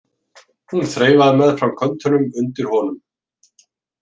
Hún þreifaði meðfram köntunum undir honum.